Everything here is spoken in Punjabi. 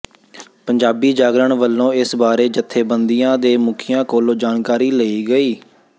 ਪੰਜਾਬੀ ਜਾਗਰਣ ਵਲੋ ਇਸ ਬਾਰੇ ਜਥੇਬੰਦੀਆਂ ਦੇ ਮੁਖੀਆਂ ਕੋਲੋ ਜਾਣਕਾਰੀ ਲਈ ਗਈ